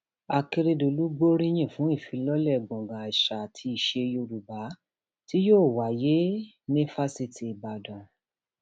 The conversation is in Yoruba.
um akérèdòlù gbóríyìn fún ìfilọlẹ gbọngàn àṣà àti iṣẹ yorùbá tí yóò wáyé um ní fásitì ìbàdàn